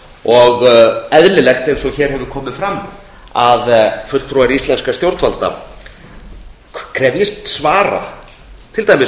það er eðlilegt eins og hér hefur komið fram að fulltrúar íslenskra stjórnvalda krefjist svara til dæmis